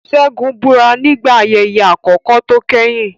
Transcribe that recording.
Segun búra nígbà ayẹyẹ àkọ́kọ́ tó kẹ́yìn.